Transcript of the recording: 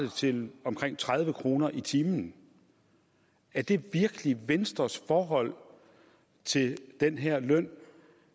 til omkring tredive kroner i timen er det virkelig venstres forhold til den her løn